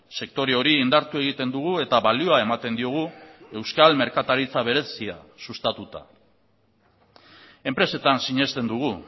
sektore hori indartu egiten dugu eta balioa ematen diogu euskal merkataritza berezia sustatuta enpresetan sinesten dugu